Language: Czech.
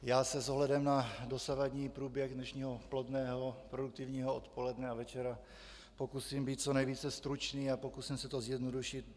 Já se s ohledem na dosavadní průběh dnešního plodného, produktivního odpoledne a večera pokusím být co nejvíce stručný a pokusím se to zjednodušit.